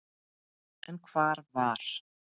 En hvar var